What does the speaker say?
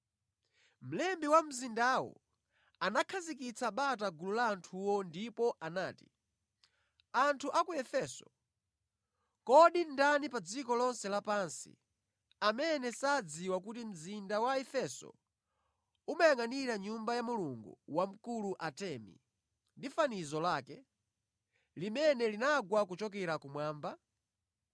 Mlembi wa mzindawo anakhazikitsa bata gulu la anthuwo ndipo anati, “Anthu a ku Efeso, kodi ndani pa dziko lonse lapansi amene sadziwa kuti mzinda wa Efeso umayangʼanira nyumba ya mulungu wamkulu Atemi ndi fanizo lake, limene linagwa kuchokera kumwamba?